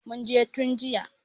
Mun je tun jiya.